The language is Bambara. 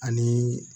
Ani